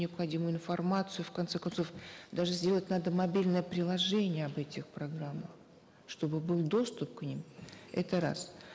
необходимую информацию в конце концов даже сделать надо мобильное приложение об этих программах чтобы был доступ к ним это раз